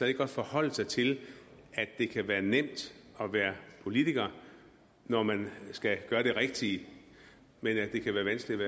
ikke godt forholde sig til at det kan være nemt at være politiker når man skal gøre det rigtige men at det kan være vanskeligt